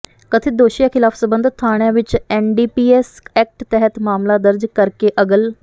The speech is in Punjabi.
ਕਥਿਤ ਦੋਸ਼ੀਆਂ ਖਿਲਾਫ ਸਬੰਧਤ ਥਾਣਿਆਂ ਵਿਚ ਐਨਡੀਪੀਐਸ ਐਕਟ ਤਹਿਤ ਮਾਮਲਾ ਦਰਜ ਕਰਕੇ ਅਗਲ